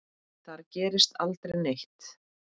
Þar gerist aldrei neitt.